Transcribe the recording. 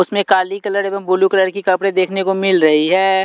उसमें काली कलर एवं ब्लू कलर की कपड़े देखने को मिल रही है।